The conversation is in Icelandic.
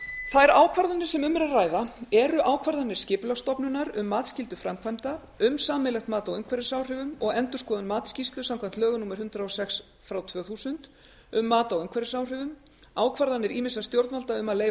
þær ákvarðanir sem um er að ræða eru ákvarðanir skipulagsstofnunar um matsskyldu framkvæmda um sameiginlegt mat á umhverfisáhrifum og endurskoðun matsskýrslu samkvæmt lögum númer hundrað og sex tvö þúsund um mat á umhverfisáhrifum ákvarðanir ýmissa stjórnvalda um að leyfa